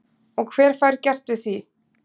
Og hver fær gert við því?